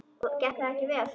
Og gekk það ekki vel.